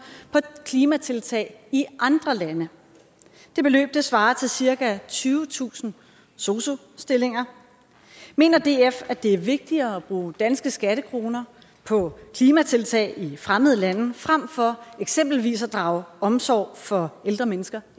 på klimatiltag i andre lande det beløb svarer til cirka tyvetusind sosu stillinger mener df at det er vigtigere at bruge danske skattekroner på klimatiltag i fremmede lande frem for eksempelvis at drage omsorg for ældre mennesker